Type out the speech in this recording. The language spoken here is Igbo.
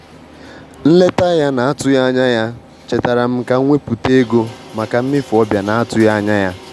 Nleta ya na-atụghị anya ya chetaara m ka m wepụta ego maka mmefu ọbịa na-atụghị anya ya.